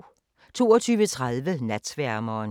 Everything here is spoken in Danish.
22:30: Natsværmeren